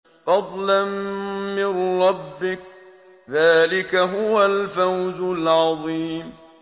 فَضْلًا مِّن رَّبِّكَ ۚ ذَٰلِكَ هُوَ الْفَوْزُ الْعَظِيمُ